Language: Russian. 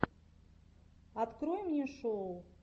открой мне шоу